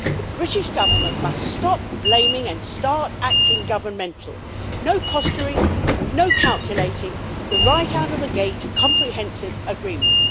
The British Government must stop blaming and start acting governmental no posturing, no calculating, a right out of the gate' comprehensive agreement.